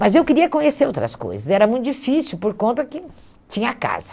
Mas eu queria conhecer outras coisas, era muito difícil por conta que tinha casa.